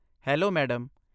Hello madam.